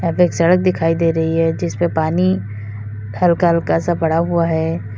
एक सड़क दिखाई दे रही है जिसमें पानी हल्का हल्का सा पड़ा हुआ है।